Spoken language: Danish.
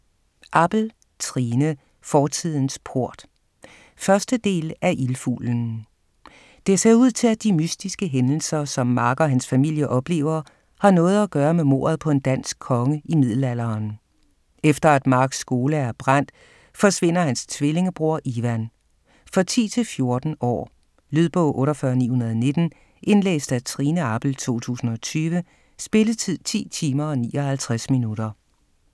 Appel, Trine: Fortidens port 1. del af Ildfuglen. Det ser ud til, at de mystiske hændelser som Mark og hans familie oplever, har noget at gøre med mordet på en dansk konge i middelalderen. Efter at Marks skole er brændt, forsvinder hans tvillingebror Ivan. For 10-14 år. Lydbog 48919 Indlæst af Trine Appel, 2020. Spilletid: 10 timer, 59 minutter.